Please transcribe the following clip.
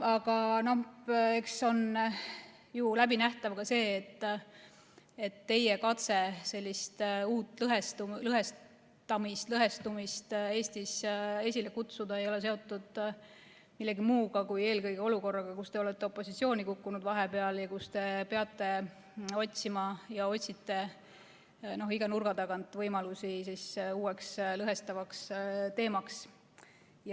Aga eks on ju läbinähtav ka see, et teie katse sellist uut lõhestamist Eestis esile kutsuda ei ole seotud millegi muuga kui eelkõige olukorraga, kus te olete opositsiooni kukkunud vahepeal ja kus te peate otsima ja otsitegi iga nurga tagant võimalusi uueks lõhestavaks teemaks.